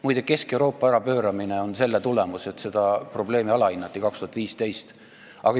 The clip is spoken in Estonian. Muide, Kesk-Euroopa ärapööramine on selle tulemus, et seda probleemi aastal 2015 alahinnati.